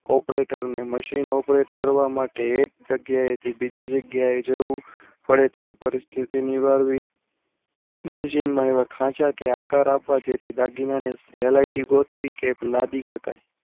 operator ને machine operator કરવા માટે એક જગ્યા એથી બીજી જગ્યા એ જવું પડે તેવી પરિસ્થિતિ નિવારવી મશીનમાં એવા ખાંચા કે આકાર અપાય તેથી દાગીનાના હેલાયોય ગોતવી કે લાંબી શકાય